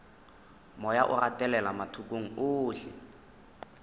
moya o gatelela mathokong ohle